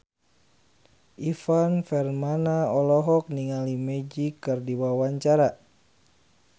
Ivan Permana olohok ningali Magic keur diwawancara